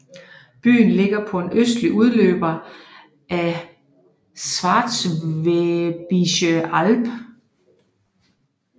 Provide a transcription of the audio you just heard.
Byen ligger på en østlig udløber af Schwäbische Alb